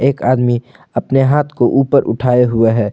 एक आदमी अपने हाथ को ऊपर उठाए हुए हैं।